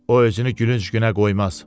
O özünü gülünc günə qoymaz.